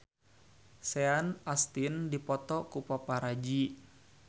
Sean Astin dipoto ku paparazi